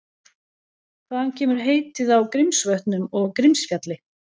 Hvaðan kemur heitið á Grímsvötnum og Grímsfjalli?